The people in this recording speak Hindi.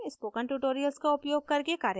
spoken tutorials का उपयोग करके कार्यशालाएं चलती है